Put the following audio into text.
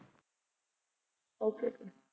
Okay ਫਿਰ